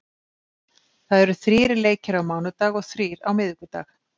Það eru þrír leikir á þriðjudag og þrír á miðvikudag.